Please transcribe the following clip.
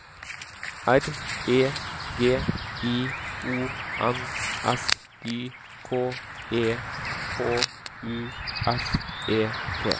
R E G I O N S Y K E H U S E T